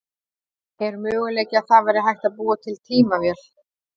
Er möguleiki að það væri hægt að búa til tímavél?